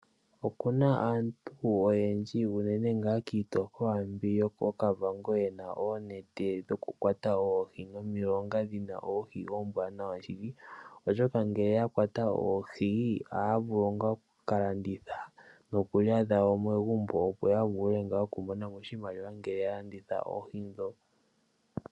Okuna aantu oyendji unene ngaa kiitopolwa mbyi yo kooKavango yena oonete dhoku kwata oohi nomilonga dhina oohi oombwanawa shili, oshoka ngele ya kwata oohi ohaya vulu ngaa oku kalanditha noku lya dhawo megumbo, opo yavule okumona mo oshimaliwa ngele ya landitha oohi dho.